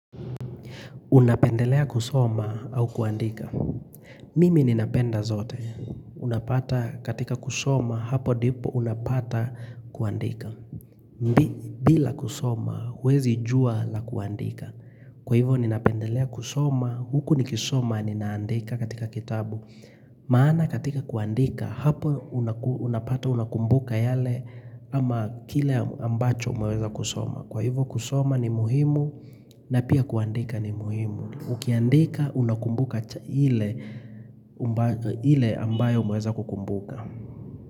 Unapendelea kusoma au kuandika. Mimi ninapenda zote. Unapata katika kusoma hapo dipo unapata kuandika. Bila kusoma uwezi jua la kuandika. Kwa hivo ninapendelea kusoma huku ni kisoma ninaandika katika kitabu. Maana katika kuandika hapo unapata unakumbuka yale ama kile ambacho umeweza kusoma. Kwa hivo kusoma ni muhimu na pia kuandika ni muhimu. Ukiandika unakumbuka hile ambayo umeweza kukumbuka.